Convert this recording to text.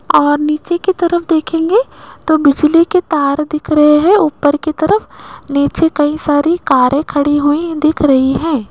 और नीचे की तरफ देखेंगे तो बिजली के तार दिख रहे है ऊपर की तरफ नीचे कई सारे कारें खड़ी हुई दिख रही है।